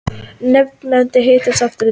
Nefndin hittist aftur í dag